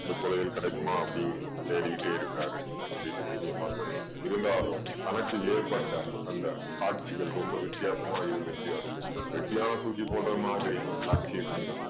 அந்த புதையல் கிடைக்குமா அப்படீன்னு தேடிக்கிட்டே இருக்கிறாரு அப்படீன்னு சீனி அம்மா சொல்றா. இருந்தாலும் தனக்கு ஏற்பட்ட அந்த காட்சிகள் ரொம்ப வித்யாசமா இருந்துச்சு அருளுக்கு. வெட்டியான் தூக்கி போடற மாதிரி காட்சிய கண்டான்.